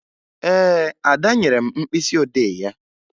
Ee, Ada nyere m mkpịsịodee ya